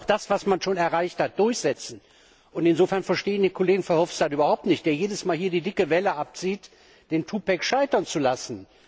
Da muss man auch das, was man erreicht hat, durchsetzen, und insofern verstehe ich Kollegen Verhofstadt überhaupt nicht, der jedes Mal hier die dicke Welle abzieht, den scheitern zu lassen.